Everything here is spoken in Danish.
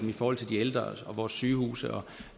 i forhold til de ældre vores sygehuse og